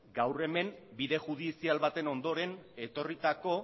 gaur hemen bide judizial baten ondoren etorritako